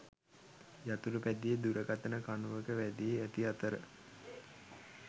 යතුරු පැදිය දුරකථන කණුවක වැදී ඇති අතර